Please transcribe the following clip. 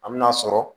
An me n'a sɔrɔ